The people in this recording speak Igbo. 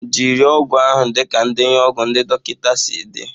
Jiri ọgwụ ahụ dịka ndenye ọgwụ ndị dọkịta si dị